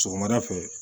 Sɔgɔmada fɛ